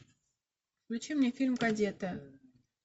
включи мне фильм кадеты